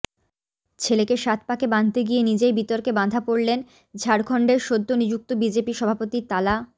ছেলেকে সাত পাকে বাঁধতে গিয়ে নিজেই বিতর্কে বাঁধা পড়লেন ঝাড়খণ্ডের সদ্য নিযুক্ত বিজেপি সভাপতি তালা